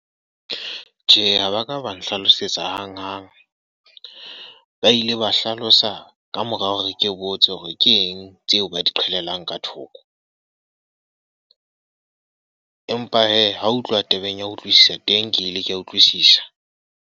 Tjhe, ha ba ka ba nhlalosetsa hang-hang. Ba ile ba hlalosa ka mora hore ke botse hore ke eng tseo ba di qhalelang ka thoko. Empa he, ha ho utlwa tabeng ya utlwisisa. Teng ke ile ke a utlwisisa.